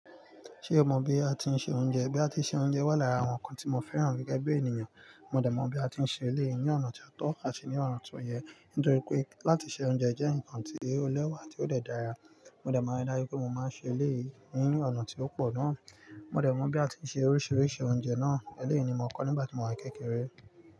Ṣé o mọ bí a ti ń se oúnjẹ? Bí a ti ń se oúnjẹ wà lára àwọn ǹkan tí mo fẹ́ràn rí gẹ́gẹ́ bí ènìyàn. Mo dẹ̀ mọ bí a ti ń ṣe eléyìí ní ọ̀nà tó pàtó àti ní ọ̀rọ̀ tuntun yẹn nítorí pé láti se oúnjẹ jẹ́ ǹkan tí ó lẹ́wà tí ó dẹ̀ dára. Mo dẹ̀ mọ̀ ní láyé pé mo máa ń ṣe eléyìí ní ọ̀nà tí ó pọ̀ náà. Mo dẹ̀ mọ bí a ti ń se oríṣiríṣi oúnjẹ náà eléyi ní mo kọ́ nígbà tí mò wa kékeré.